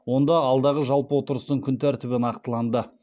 онда алдағы жалпы отырыстың күн тәртібі нақтыланды